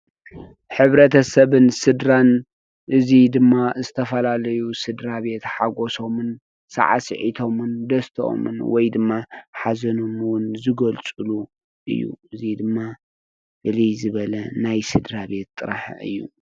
ሕብረተሰብን ስድራን እዚ ድማ ዝተፈላለዩ ስድራቤት ሓጎሶም፣ ሳዕሲዕቶምን፣ ደስትኦምን ወይ ድማ ሓዘኖም እውን ዝገልፅሉ እዩ። እዙይ ድማ ፍልይ ዝበለ ናይ ስድራቤት ጥራሕ እዩ።